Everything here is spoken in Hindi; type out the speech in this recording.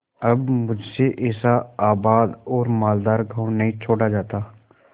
अब मुझसे ऐसा आबाद और मालदार गॉँव नहीं छोड़ा जाता